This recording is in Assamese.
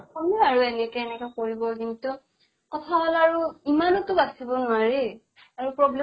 শুনো আৰু এনেকে এনেকে কৰিব কিন্তু, কথা হʼল আৰু ইমানো বাছিব নোৱাৰি আৰু problem